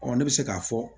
ne bɛ se k'a fɔ